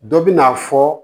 Dɔ bɛ na fɔ